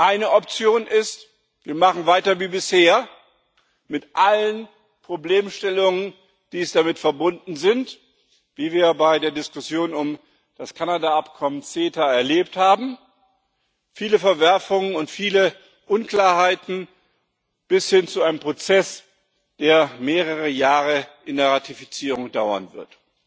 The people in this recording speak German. Eine Option ist Wir machen weiter wie bisher, mit allen Problemstellungen, die damit verbunden sind, wie wir bei der Diskussion um das Kanada Abkommen CETA erlebt haben, mit vielen Verwerfungen und vielen Unklarheiten bis hin zu einem Prozess, der mehrere Jahre in der Ratifizierung dauern wird.